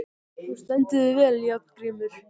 Þú stendur þig vel, Járngrímur!